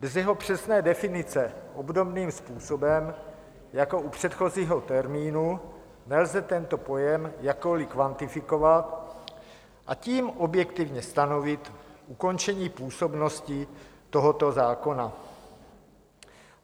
Bez jeho přesné definice obdobným způsobem jako u předchozího termínu nelze tento pojem jakkoli kvantifikovat, a tím objektivně stanovit ukončení působnosti tohoto zákona.